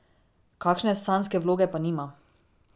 Kakšne sanjske vloge pa nima.